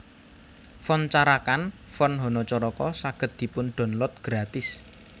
Font Carakan Font hanacaraka saged dipun download gratis